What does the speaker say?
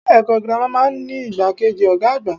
Ilé èkó girama máa n ní igbákejì Ògá àgbà